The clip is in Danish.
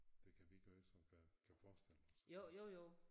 Det kan vi gøre som der kan forestille os det